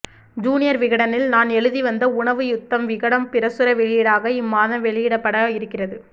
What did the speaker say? junior விகடனில் நான் எழுதி வந்த உணவு யுத்தம் விகடன் பிரசுர வெளியீடாக இம்மாதம் வெளியிடப்பட இருக்கிறது